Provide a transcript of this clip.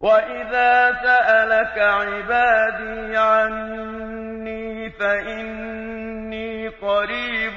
وَإِذَا سَأَلَكَ عِبَادِي عَنِّي فَإِنِّي قَرِيبٌ ۖ